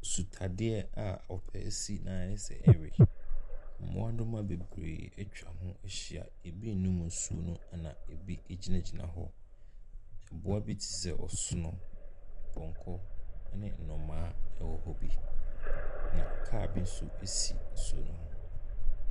Nsutaadeɛ a ɔpɛ esi na ayɛ sɛ ɛrewe, mmoadoma bebree atwa ho ahyi, bi renom nsuo no, na bi gyinagyina hɔ. mmoa bi te sɛ ɔsono, pɔnkɔ ne nnomaa wɔ hɔ bi na kaa bi nso asi nsuo ne ho.